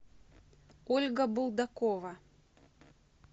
ольга булдакова